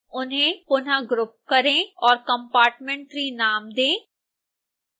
उन्हें पुनः ग्रुप करें और compartment3 नाम दें